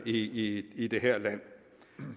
i i det her land